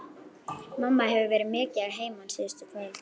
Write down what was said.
Mamma hefur verið mikið að heiman síðustu kvöld.